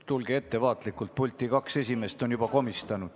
Tulge ettevaatlikult pulti, kaks esimest on juba komistanud.